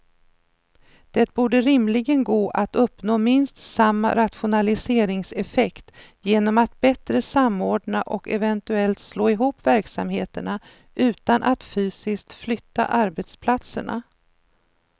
Det borde rimligen gå att uppnå minst samma rationaliseringseffekt genom att bättre samordna och eventuellt slå ihop verksamheterna utan att fysiskt flytta arbetsplatserna.